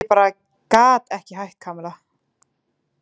Ég bara gat ekki hætt, Kamilla.